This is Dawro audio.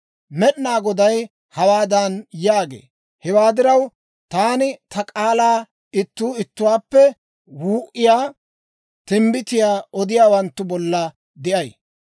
Med'inaa Goday hawaadan yaagee; «Hewaa diraw, taani ta k'aalaa ittuu ittuwaappe wuu"iyaa timbbitiyaa odiyaawanttu bolla de'ay.